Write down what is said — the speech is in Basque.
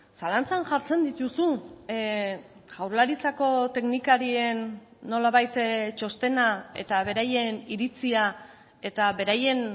zalantzan jartzen dituzu jaurlaritzako teknikarien nolabait txostena eta beraien iritzia eta beraien